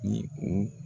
Ni u